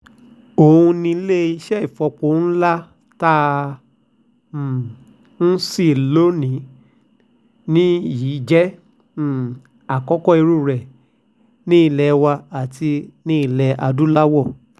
ó ní iléeṣẹ́ ìfọpo ńlá tá à um ń ṣí lónì-ín-ní yìí jẹ́ um àkọ́kọ́ irú ẹ̀ nílé wa àti nílẹ̀ adúláwò